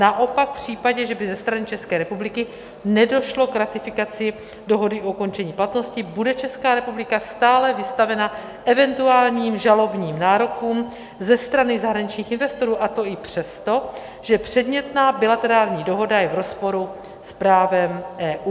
Naopak v případě, že by ze strany České republiky nedošlo k ratifikaci dohody o ukončení platnosti, bude Česká republika stále vystavena eventuálním žalobním nárokům ze strany zahraničních investorů, a to i přesto, že předmětná bilaterální dohoda je v rozporu s právem EU.